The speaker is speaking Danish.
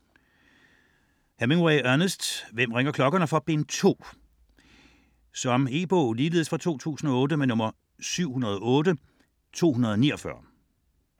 Hemingway, Ernest: Hvem ringer klokkerne for?: Bind 2 Om et kærlighedsforhold mellem en amerikansk frivillig og en spansk pige, der opstår i en guerillagruppe under den spanske borgerkrig 1936-39. E-bog 708249 2008.